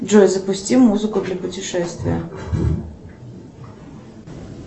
джой запусти музыку для путешествия